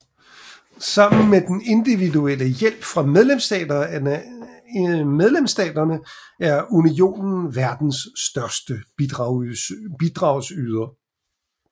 Sammen med den individuelle hjælp fra medlemsstaterne er Unionen verdens største bidragsyder